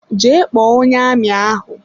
Jee kpọọ onye amị ahụ!